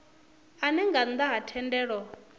ane nga nnda ha thendelo